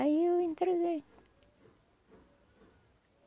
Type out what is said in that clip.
Aí eu entreguei.